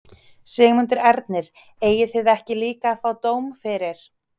Sigmundur Ernir: Eigið þið ekki líka að fá dóm fyrir?